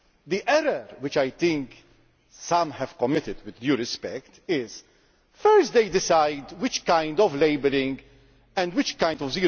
The error which I think some have committed with due respect is that first they decide which kind of labelling and which kind of